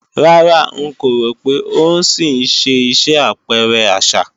Rárá, ń kò rò pé ó ń ṣì ṣe iṣẹ́ àpẹrẹ àṣà